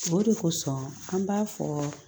O de kosɔn an b'a fɔ